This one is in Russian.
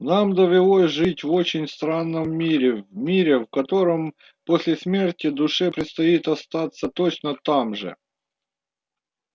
нам довелось жить в очень странном мире в мире в котором после смерти душе предстоит остаться точно там же